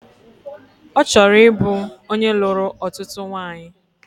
Ọ chọrọ ịbụ onye lụrụ ọtụtụ nwanyị